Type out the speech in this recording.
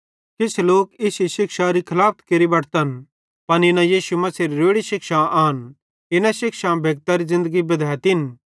किछ लोक इश्शे शिक्षारी खलाफत केरि बटतन पन इना यीशु मसीहेरी रोड़ी शिक्षां आन इना शिक्षां भेक्तरी ज़िन्दगी बद्धेतिन